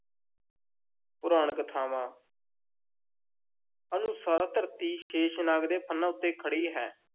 ਪੁਰਾਣ-ਕਥਾਵਾਂ ਅਨੁਸਾਰ ਧਰਤੀ ਸ਼ੇਸ਼ਨਾਗ ਦੇ ਫੰਨ੍ਹਾਂ ਉੱਤੇ ਖੜ੍ਹੀ ਹੈ।